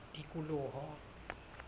tikoloho